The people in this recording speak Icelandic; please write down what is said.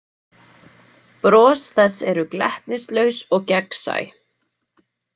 Bros þess eru glettnislaus og gegnsæ.